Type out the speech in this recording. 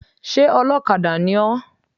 Sé olókadà ni ó?